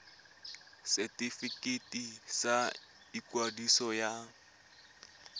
ya setefikeiti sa ikwadiso ya